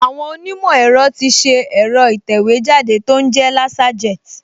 Àwọn onímọ̀ ẹ̀rọ ti ṣe ẹ̀rọ ìtẹ̀wéjáde tó ń jẹ́ Laserjet